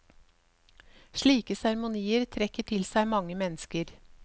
Slike seremonier trekker til seg mange mennesker.